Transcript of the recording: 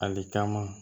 Ali taama